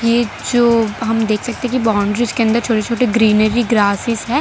ये जो हम देख सकते की बाउंड्रीज के अंदर छोटे-छोटे ग्रीनरी ग्रासेस है।